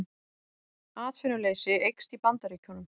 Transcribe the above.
Atvinnuleysi eykst í Bandaríkjunum